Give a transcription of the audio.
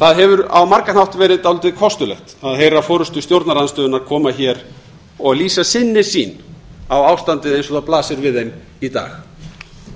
það hefur á margan hátt verið dálítið kostulegt að heyra forustu stjórnarandstöðunnar koma hingað og lýsa sinni sýn á ástandið eins og það blasir við í dag